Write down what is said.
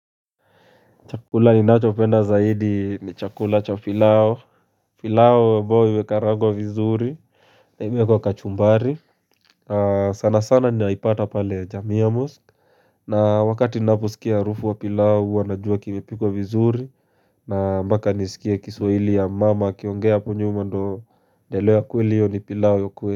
Chakula ni nacho penda zaidi ni chakula cha pilao, pilao ambawo imekarangwa vizuri imewekwa kachumbari sana sana ni yaipata pale jamia mosque na wakati ni naposikia harufu wa pilao wanajua kimepikwa vizuri na mbaka nisikia kiswahili ya mama akiongea hapo nyuma ndo elewa hiyo kweli hiyo ni pilao ya kweli.